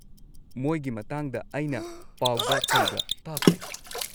ꯃꯣꯏꯒꯤ ꯃꯇꯥꯡꯗ ꯑꯩꯅ ꯄꯥꯎꯗ ꯀꯩꯗ ꯇꯥꯈ꯭ꯔꯦ꯫